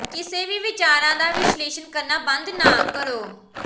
ਕਿਸੇ ਵੀ ਵਿਚਾਰਾਂ ਦਾ ਵਿਸ਼ਲੇਸ਼ਣ ਕਰਨਾ ਬੰਦ ਨਾ ਕਰੋ